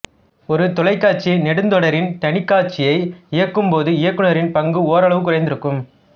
ஒரு தொலைக்காட்சி நெடுந்தொடரின் தனிக்காட்சியை இயக்கும்போது இயக்குநரின் பங்கு ஓரளவு குறைந்திருக்கும்